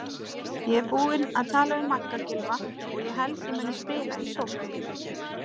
Ég er búinn að tala við Magga Gylfa og held ég muni spila í sókn.